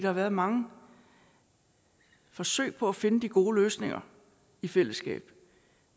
har været mange forsøg på at finde de gode løsninger i fællesskab